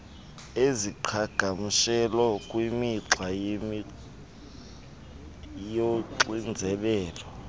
iziqhagamshelo kwimigca yoxinzelelo